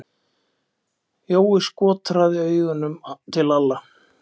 Jói skotraði augunum til Lalla.